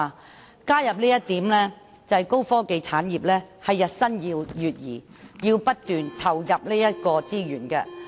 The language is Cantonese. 我加入這一點，旨在說明高科技產業日新月異，要不斷投入資源。